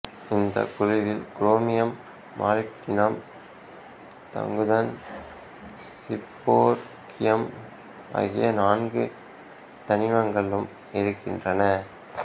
இந்தக் குழுவில் குரோமியம் மாலிப்டினம்தங்குதன் சீபோர்கியம் ஆகிய நான்கு தனிமங்களும் இருக்கின்றன